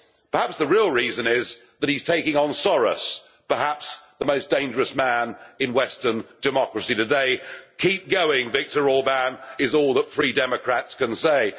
Maybe the real reason is that he is taking on Soros, perhaps the most dangerous man in Western democracy today. Keep going, Viktor Orbán', is all that free democrats can say.